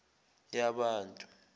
yabantu